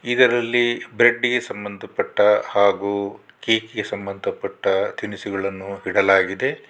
ಇದರಲ್ಲಿ ಬ್ರೆಡ್ಡಿಗೆ ಸಂಬಂಧ ಪಟ್ಟ ಹಾಗು ಕೇಕಿಗೆ ಸಂಬಂಧ ಪಟ್ಟ ತಿನಿಸುಗಳನ್ನು ಇಡಲಾಗಿದೆ.